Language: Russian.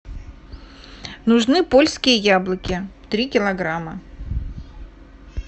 нужны польские яблоки три килограмма